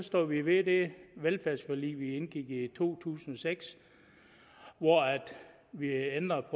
står vi ved det velfærdsforlig vi indgik i to tusind og seks hvor vi ændrede